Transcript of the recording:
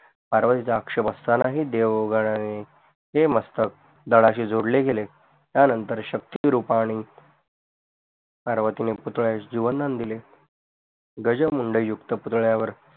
पार्वतीचा आक्षेप असतानाही देवगनाणे हे मस्तक धाडाशी जोडले गेले त्यानंतर शकतिरूपणे पार्वतीने पुतडयास जीवनदान दिले गजमूण्डयुक्त पुतडयावर